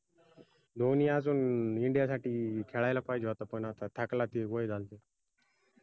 धोनी आजून india साठी खेळायला पाहिजे होता पन आता थकला ते वय झालं